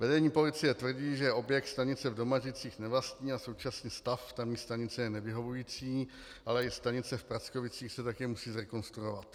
Vedení policie tvrdí, že objekt stanice v Domažlicích nevlastní a současný stav tamní stanice je nevyhovující, ale i stanice v Prackovicích se také musí zrekonstruovat.